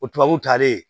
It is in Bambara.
O tubabuw taalen